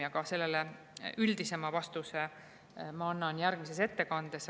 üldisema vastuse ma annan järgmises ettekandes.